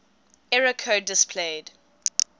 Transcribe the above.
error code displayed